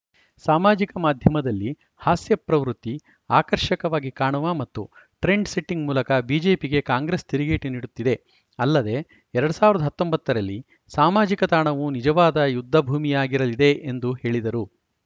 ಸಾಮಾಜಿಕ ಮಾಧ್ಯಮದಲ್ಲಿ ಹಾಸ್ಯಪ್ರವೃತ್ತಿ ಆಕರ್ಷಕವಾಗಿ ಕಾಣುವ ಮತ್ತು ಟ್ರೆಂಡ್‌ಸೆಟ್ಟಿಂಗ್‌ ಮೂಲಕ ಬಿಜೆಪಿಗೆ ಕಾಂಗ್ರೆಸ್‌ ತಿರುಗೇಟು ನೀಡುತ್ತಿದೆ ಅಲ್ಲದೆ ಎರಡ್ ಸಾವಿರದ ಹತ್ತೊಂಬತ್ತ ರಲ್ಲಿ ಸಾಮಾಜಿಕ ತಾಣವು ನಿಜವಾದ ಯುದ್ಧ ಭೂಮಿಯಾಗಿರಲಿದೆ ಎಂದು ಹೇಳಿದರು